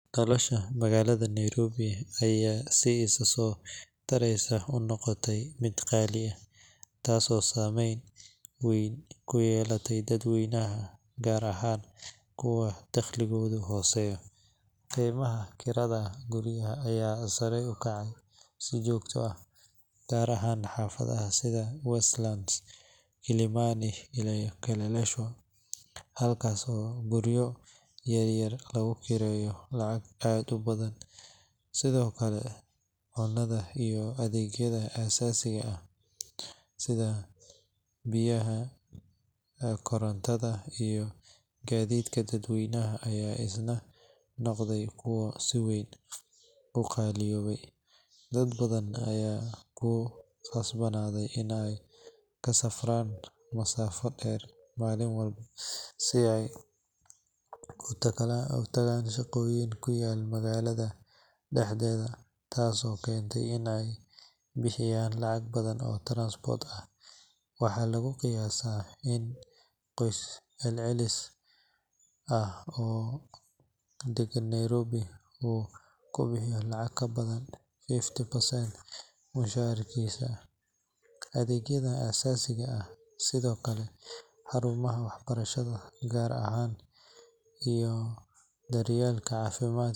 Nolosha magaalada Nairobi ayaa si isa soo taraysa u noqotay mid qaali ah, taasoo saameyn weyn ku yeelatay dadweynaha gaar ahaan kuwa dakhligoodu hooseeyo. Qiimaha kirada guryaha ayaa sare u kacay si joogto ah, gaar ahaan xaafadaha sida Westlands, Kilimani, iyo Kileleshwa halkaas oo guryo yar yar lagu kireeyo lacag aad u badan. Sidoo kale, cunada iyo adeegyada aasaasiga ah sida biyaha, korontada, iyo gaadiidka dadweynaha ayaa isna noqday kuwo si weyn u qaaliyoobay. Dad badan ayaa ku khasbanaaday in ay ka safraan masaafado dheer maalin walba si ay u tagaan shaqooyin ku yaal magaalada dhexdeeda, taas oo keenta in ay bixiyaan lacag badan oo transport ah. Waxaa lagu qiyaasaa in qoys celcelis ah oo degan Nairobi uu ku bixiyo lacag ka badan fifty percent mushaharkiisa adeegyada aasaasiga ah. Sidoo kale, xarumaha waxbarashada gaarka ah iyo daryeelka caafimaadka .